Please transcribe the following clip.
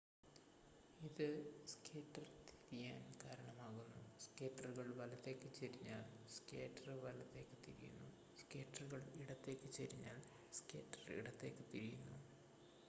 ഇത് സ്കേറ്റർ തിരിയാൻ കാരണമാകുന്നു സ്കേറ്റുകൾ വലത്തേക്ക് ചെരിഞ്ഞാൽ സ്കേറ്റർ വലത്തേക്ക് തിരിയുന്നു സ്കേറ്റുകൾ ഇടത്തേക്ക് ചെരിഞ്ഞാൽ സ്കേറ്റർ ഇടത്തേക്ക് തിരിയുന്നു